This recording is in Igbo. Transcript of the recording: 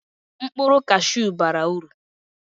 mkpụrụ cashew bara uru